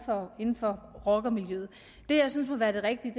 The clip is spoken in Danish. meget inden for rockermiljøet det jeg synes må være det rigtige